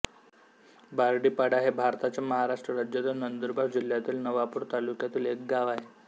बारडीपाडा हे भारताच्या महाराष्ट्र राज्यातील नंदुरबार जिल्ह्यातील नवापूर तालुक्यातील एक गाव आहे